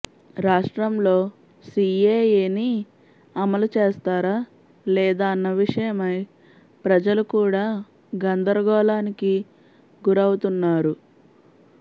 రాష్ట్రంలో సీఏఎని అమలు చేస్తారా లేదా అన్న విషయమై ప్రజలు కూడా గందరగోళానికి గురవుతున్నారు